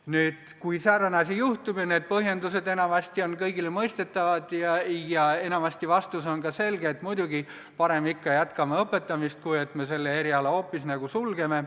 Nüüd, kui säärane asi juhtub – need põhjendused on enamasti kõigile mõistetavad –, siis enamasti on vastus selge: muidugi, parem ikka jätkame õpetamist, kui et selle eriala hoopis sulgeme.